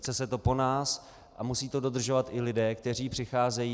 Chce se to po nás a musí to dodržovat i lidé, kteří přicházejí.